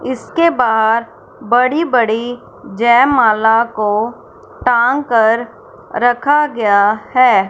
इसके बाहर बड़ी बड़ी जयमाला को टांग कर रखा गया है।